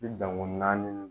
Ni danko naani